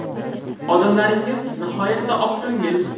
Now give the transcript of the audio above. Odamlaringiz nihoyatda oqko‘ngil.